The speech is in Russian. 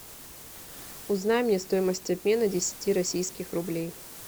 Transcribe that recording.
узнай мне стоимость обмена десяти российских рублей